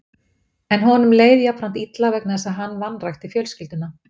En honum leið jafnframt illa vegna þess að hann vanrækti fjölskylduna.